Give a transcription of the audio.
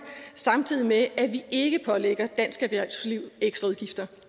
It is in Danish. samtidig med at vi ikke pålægger dansk erhvervsliv ekstra udgifter